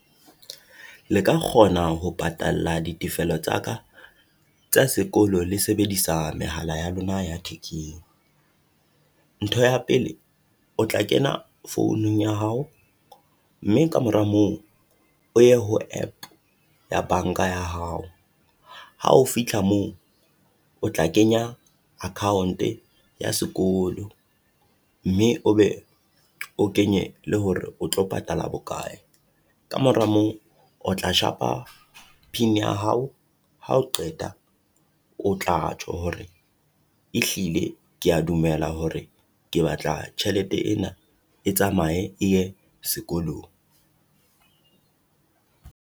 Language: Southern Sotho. Le ka kgona ho patalla ditefelo tsa ka tsa sekolo le sebedisa mehala ya lona ya thekeng. Ntho ya pele o tla kena founung ya hao mme kamora moo o ye ho App ya banka ya hao. Ha o fitlha moo o tla kenya account-e ya sekolo mme o be o kenye le hore o tlo patala bokae. Kamora moo, o tla shapa pin ya hao hao qeta, o tla tjho hore ehlile kea dumela hore ke batla tjhelete ena e tsamaye e ye sekolong.